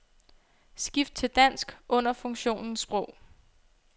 Skift til dansk under funktionen sprog.